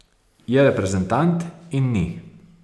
Je reprezentant in ni.